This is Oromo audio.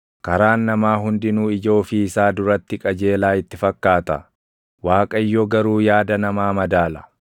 Karaan namaa hundinuu ija ofii isaa duratti qajeelaa itti fakkaata; Waaqayyo garuu yaada namaa madaala.